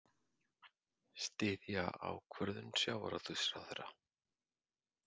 Styðja ákvörðun sjávarútvegsráðherra